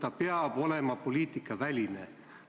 Ta peab olema poliitikaväline.